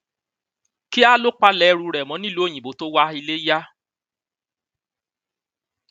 kíá ló palẹ ẹrù ẹ mọ nílùú òyìnbó tó wá ilé yá